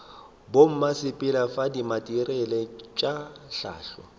bommasepala fa dimateriale tša hlahlo